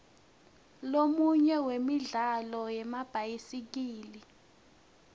lomunye wemijaho yemabhayisikili